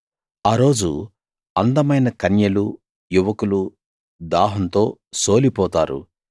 ఆ రోజు అందమైన కన్యలూ యువకులూ దాహంతో సోలిపోతారు